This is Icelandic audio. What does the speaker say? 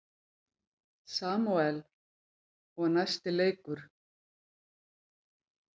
Samúel: Og næsti leikur.